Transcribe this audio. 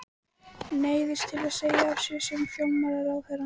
Neyðist til að segja af sér sem fjármálaráðherra.